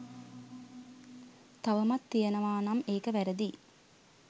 තවමත් තියෙනවා නම් ඒක වැරදියි.